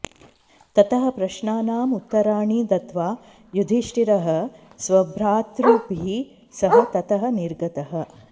ततः प्रश्नानाम् उत्तराणि दत्त्वा युधिष्ठिरः स्वभ्रातृभिः सह ततः निर्गतः